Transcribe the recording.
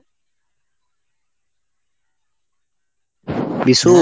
Bishu?